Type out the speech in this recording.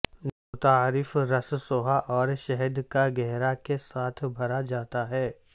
متعارف رس سوھا اور شہد کا گہرا کے ساتھ بھرا جاتا ہے